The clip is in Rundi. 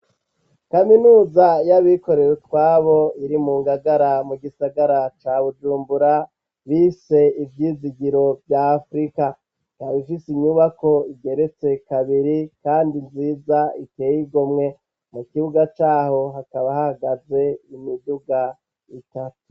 Kaminuza y'abikorewe twabo iri mu ngagara mu gisagara ca bujumbura bise ivyizigiro vyaafurika tabifise inyubako igeretse kabiri, kandi nziza iteye igomwe mu kibuga caho hakaba hagaze imiduga itatu.